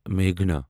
میگھنا